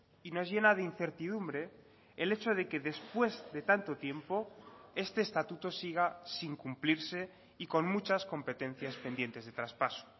y nos llena de incertidumbre el hecho de que después de tanto tiempo este estatuto siga sin cumplirse y con muchas competencias pendientes de traspaso